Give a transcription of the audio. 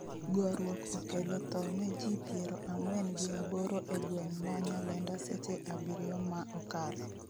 Goruok okelo tho ne ji piero ang'wen gi aboro e gweng' ma Nyalenda seche abiriyo ma okalo